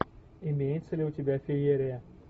имеется ли у тебя феерия